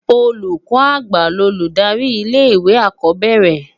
Ólúkò ágbá lólúdári ilé iwé ákó bèrè